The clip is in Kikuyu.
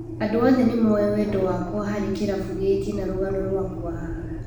" Andũ othe nĩ moĩ wendo wakwa harĩ kĩrabu gĩkĩ na rũgano rũakwa haha.